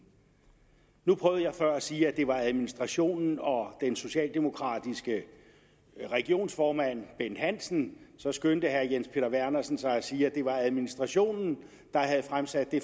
nu prøvede jeg før at sige at det var administrationen og den socialdemokratiske regionsformand bent hansen så skyndte herre jens peter vernersen sig at sige at det var administrationen der havde fremsat det